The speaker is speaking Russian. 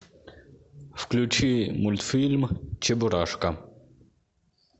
включи мультфильм чебурашка